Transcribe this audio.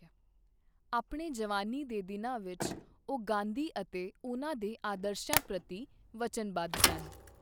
ਆਪਣੇ ਜਵਾਨੀ ਦੇ ਦਿਨਾਂ ਵਿੱਚ, ਉਹ ਗਾਂਧੀ ਅਤੇ ਉਹਨਾਂ ਦੇ ਆਦਰਸ਼ਾਂ ਪ੍ਰਤੀ ਵਚਨਵੱਧ ਸਨ।